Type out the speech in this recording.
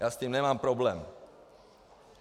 Já s tím nemám problém.